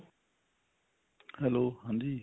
hello ਹਾਂਜੀ